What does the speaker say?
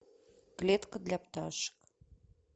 клетка для пташек